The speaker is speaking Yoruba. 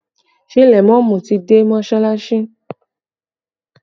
Ṣé lèmọ́mù ti dé mọsalasi?